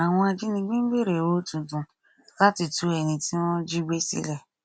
àwọn ajínigbé ń béèrè owó tuntun láti tú ẹni tí wọn jígbé sílẹ